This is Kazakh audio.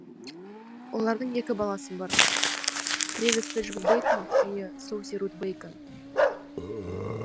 олардың екі баласы бар трэвис седжвик бэйкон және соуси рут бэйкон